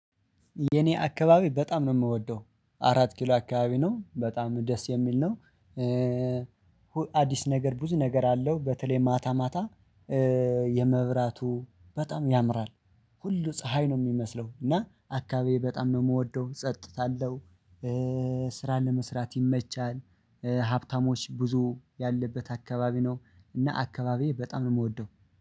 የኔ አካባቢ በጣም ነው የምወደው አራት ኪሎ አካባቢ ነው በጣም ደስ የሚል ነው። አዲስ ነገር ብዙ ነገር አለው በተለይ ማታ ማታ የመብራቱ በጣም ያምራል ሁሉ ፀሀይ ነው የሚመስለው እና አካባቢ በጣም ነው የምወደው ጸጥታ አለው። ስራ ለመስራት ይመቻል፣ ሀብታሞች ብዙ ያለበት አካባቢ ነው። እና አካባቢዬ በጣም ነው የምወደው።